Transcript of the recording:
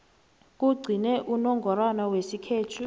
kugcine unongorwana wesikhethu